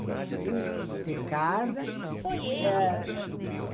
Eles queriam ter casa. Eh